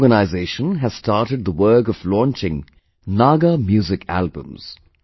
This organization has started the work of launching Naga Music Albums